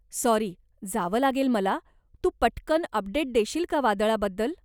Sorry, जावं लागेल मला, तू पटकन अपडेट देशील का वादळाबद्दल.